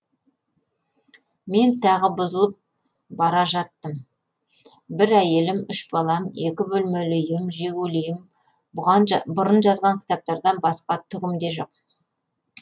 мен тағы бұзылып бара жаттым бір әйелім үш балам екі бөлмелі үйім жигулиім бұрын жазған кітаптардан басқа түгім де жоқ